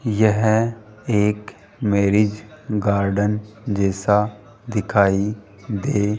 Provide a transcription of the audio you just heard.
यह एक marriage garden जैसा दिखाई दे --